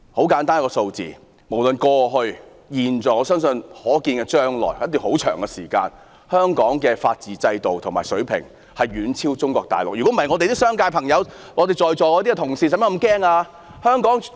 很簡單，無論過去、現在或我相信可見將來的一段很長時間內，香港法治制度的水平仍會遠超中國內地，否則本港的商界朋友、在席的同事何須如此害怕？